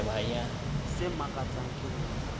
se makatsang ke ho re